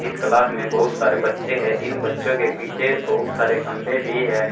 इस क्लास में बहुत सारे बच्चे हैं इन बच्चों के पीछे बहुत सारे खंबे भी है।